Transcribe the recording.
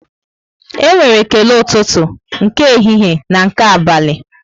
E nwere ekele ụtụtụ, nke ehihie na nke abalị